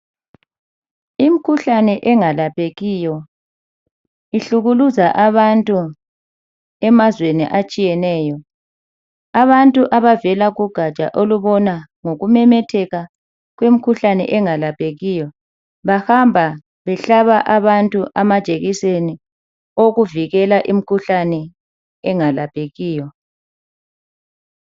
Imikhuhlane engelaphekiyo ihlukuluza abantu emazweni atshiyeneyo. Abantu abavela kugatsha olubona ngokumemetheka kwemikhuhlane engelaphekiyo bahamba behlaba abantu amajekiseni awokuvikela imikhuhlane engelaphekiyo.